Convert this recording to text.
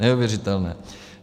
Neuvěřitelné.